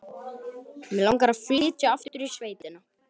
Mig langar að flytja aftur í sveitina.